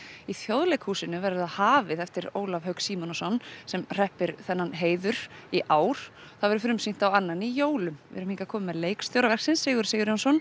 í Þjóðleikhúsinu verður það hafið eftir Ólaf Hauk Símonarson sem hreppir þennan heiður í ár það verður frumsýnt annan í jólum við erum hingað komin með leikstjóra verksins Sigurð Sigurjónsson